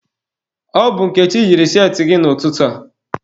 Ọ bụ Nkechi yiri cheetị gị n'ụtụtụ a.